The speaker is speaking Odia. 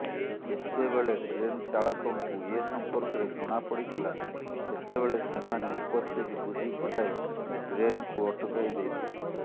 ଯେତେବେଳେ ଟ୍ରେନଚାଳକଙ୍କୁ ଏସଂପର୍କରେ ଜଣା ପଡିଥିଲା ସେତେବେଳେ ସେମାନେ ଉପସ୍ଥିତ ବୁଦ୍ଧି ଖଟାଇ ଟ୍ରେନ୍କୁ ଅଟାକାଇ ଦେଇଥିଲେ